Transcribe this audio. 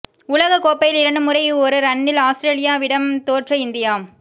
உலகக் கோப்பையில் இரண்டு முறை ஒரு ரன்னில் ஆஸ்திரேலியாவிடம் தோற்ற இந்தியா